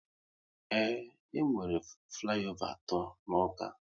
Ee, e nwere flayova atọ n'Awka